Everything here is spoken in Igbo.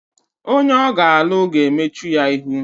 Onye ọ ga-alụ ga-emechu ya ihu